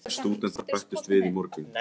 Sex stúdentar bættust við í morgun.